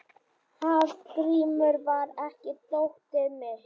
Hafgrímur, hvar er dótið mitt?